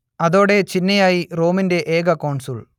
അതോടേ ചിന്നയായി റോമിന്റെ ഏക കോൺസുൾ